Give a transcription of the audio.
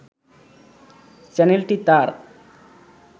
চ্যানেলটি তাঁর